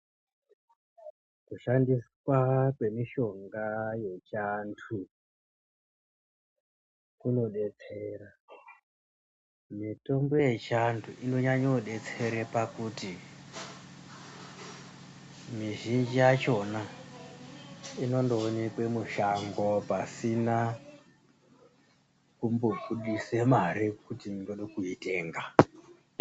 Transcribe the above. Kushandiswa kwemishonga yechiantu kumodetsera. Mitombo yechiantu inonyanya kudetsera pakuti mizhinji yakona inondowonekwa mushango pasina kumblbudise mare yekuti ndoda kuitenga.